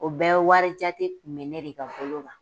O bɛɛ wari jate kun bɛ ne de ka bolo kan.